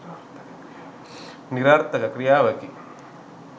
නිරර්ථක ක්‍රියාවකි.